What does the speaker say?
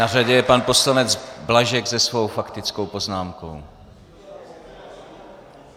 Na řadě je pan poslanec Blažek se svou faktickou poznámkou.